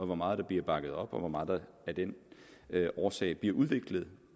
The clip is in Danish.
hvor meget der bliver bakket op og hvor meget der af den årsag bliver udviklet